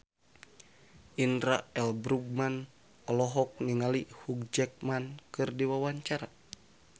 Indra L. Bruggman olohok ningali Hugh Jackman keur diwawancara